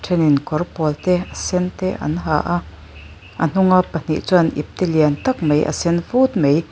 thenin kawr pawl te a sen te an ha a a hnunga pahnih chuan ipte lian tak mai a sen phut mai--